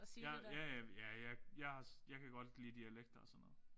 Jeg ja ja ja jeg har jeg kan godt lide dialekter og sådan noget